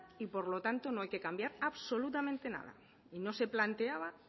y por lo tanto no hay que cambiar absolutamente nada y no se planteaba